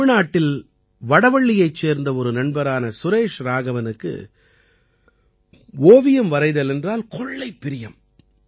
தமிழ்நாட்டில் வடவள்ளியைச் சேர்ந்த ஒரு நண்பரான சுரேஷ் ராகவனுக்கு ஓவியம் வரைதல் என்றால் கொள்ளைப் பிரியம்